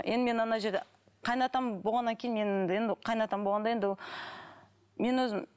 енді мен ана жерде қайын атам болғаннан кейін мен енді қайын ата болғанда енді ол мен өзім